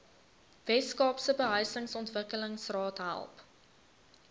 weskaapse behuisingsontwikkelingsraad help